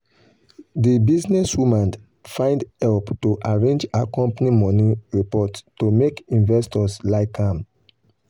the businesswoman find help to arrange her company money report to make investors like am.